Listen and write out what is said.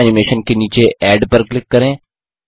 custom animation के नीचे add पर क्लिक करें